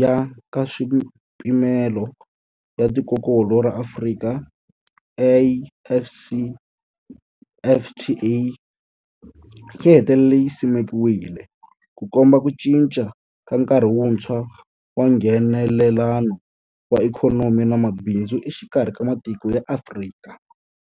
ya Nkaswipimelo ya Tikokulu ra Afrika, AfCFTA, yi hetelele yi simekiwile, Ku komba ku cinca ka nkarhi wuntshwa wa Nghenelelano wa ikhonomi na mabindzu exikarhi ka matiko ya Afrika.